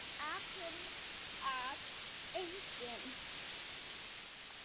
Akkúrat enginn.